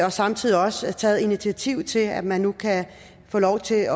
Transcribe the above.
og samtidig også taget initiativ til at man nu kan få lov til at